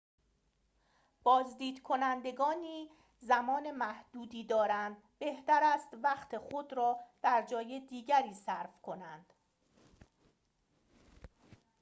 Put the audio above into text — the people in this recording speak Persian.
بازدید کنندگانی زمان محدودی دارند بهتر است وقت خود را در جای دیگری صرف کنند